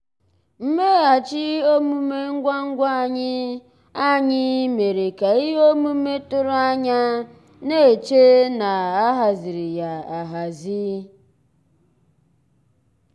mmèghàchị́ òmùmé ngwá ngwá ànyị́ ànyị́ mérè ká íhé òmùmé tụ̀rụ̀ ànyá ná-èchè ná á hàzírí yá áhàzí.